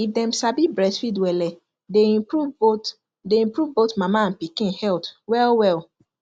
if them sabi breastfeed welle day improve both day improve both mama and pikin health well well